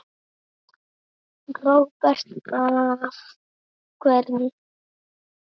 Róbert: Af hverju?